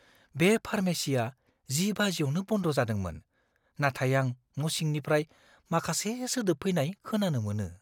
बे फार्मेसीआ 10 बाजिआवनो बन्द जादोंमोन, नाथाय आं न'सिंनिफ्राय माखासे सोदोब फैनाय खोनानो मोनो।